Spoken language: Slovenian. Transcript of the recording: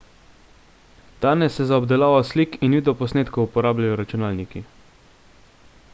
danes se za obdelavo slik in videoposnetkov uporabljajo računalniki